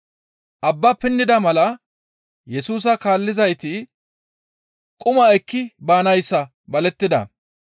Abba pinnida mala Yesusa kaallizayti quma ekki baanayssa balettida.